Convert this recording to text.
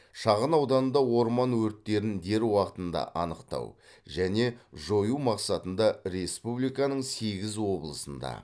шағын ауданда орман өрттерін дер уақытында анықтау және жою мақсатында республиканың сегіз облысында